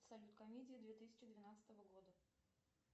салют комедия две тысячи двенадцатого года